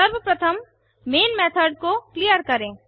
सर्वप्रथम main method को clear करें